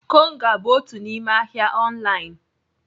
Konga bụ otu n'ime ahịa ọnlaịn.